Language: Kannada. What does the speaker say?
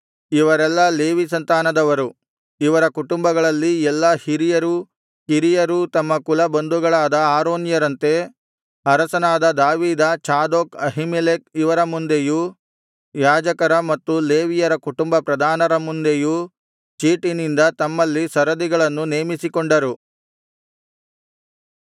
ಇವರೆಲ್ಲಾ ಲೇವಿ ಸಂತಾನದವರು ಇವರ ಕುಟುಂಬಗಳಲ್ಲಿ ಎಲ್ಲಾ ಹಿರಿಯರೂ ಕಿರಿಯರೂ ತಮ್ಮ ಕುಲ ಬಂಧುಗಳಾದ ಆರೋನ್ಯರಂತೆ ಅರಸನಾದ ದಾವೀದ ಚಾದೋಕ್ ಅಹೀಮೆಲೆಕ್ ಇವರ ಮುಂದೆಯೂ ಯಾಜಕರ ಮತ್ತು ಲೇವಿಯರ ಕುಟುಂಬ ಪ್ರಧಾನರ ಮುಂದೆಯೂ ಚೀಟಿನಿಂದ ತಮ್ಮಲ್ಲಿ ಸರದಿಗಳನ್ನು ನೇಮಿಸಿಕೊಂಡರು